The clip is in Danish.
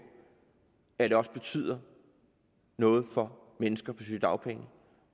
at det også betyder noget for mennesker på sygedagpenge